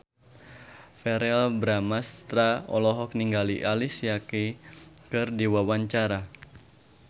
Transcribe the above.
Verrell Bramastra olohok ningali Alicia Keys keur diwawancara